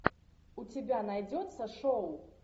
у тебя найдется шоу